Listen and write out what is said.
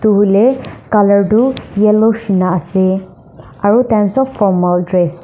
volae color tu yellow nishina ase aro tai kan sob formal dress .